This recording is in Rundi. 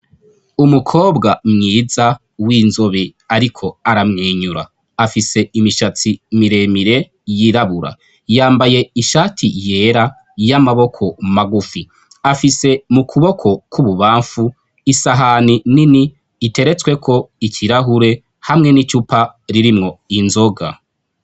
Umukobwa mwiza w'inzobe ariko aramwinyura, afise imishatsi miremire yirabura yambaye ishati yera y'amaboko magufi afise mu kuboko k'ububamfu isahani nini iteretsweko ikirahure hamwe n'icupa ririmwo inzoga.